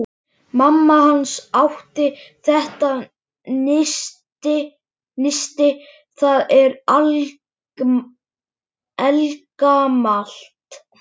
Mamma hans átti þetta nisti, það er eldgamalt.